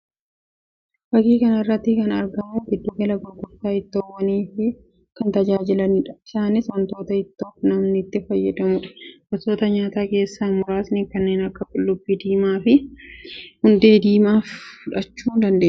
Fakkii kana irratti kan argamu giddu gala gurgurtaa ittoowwaniif kan tajaajilanii dha. Isaanis wantoota ittoof namni itti fayyadamuu dha. Gosoota nyaataa keessaa muraasni kanneen akka qullubbii diimaa fi hundee diimaa fudhachuu dandeenya.